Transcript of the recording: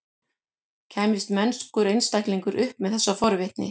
Kæmist mennskur einstaklingur upp með þessa forvitni?